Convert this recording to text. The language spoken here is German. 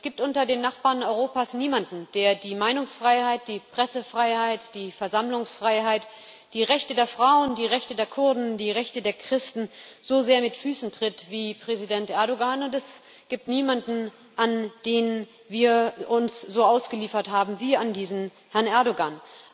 Es gibt unter den Nachbarn Europas niemanden, der die Meinungsfreiheit, die Pressefreiheit, die Versammlungsfreiheit, die Rechte der Frauen, die Rechte der Kurden, die Rechte der Christen so sehr mit Füßen tritt wie Präsident Erdoğan, und es gibt niemanden, an den wir uns so ausgeliefert haben wie an diesen Herrn Erdoğan.